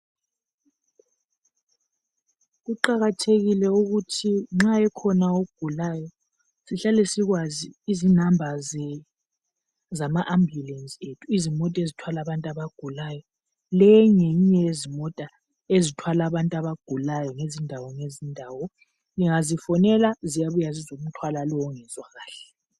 Kuqakathekile ukuthi nxa ekhona ogulayo sihlale sikwazi izinamba zama ambulensi izimota ezithwala abantu abagulayo. Le ngiyinye yezimota ezithwala abantu abagulayo ngezindawo ngezindawo ungazifonela ziyabuya zizothwala lowo ongezwa kahle.